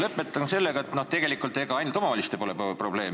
Lõpetan sellega, et ega probleem ei ole ainult omavalitsustes.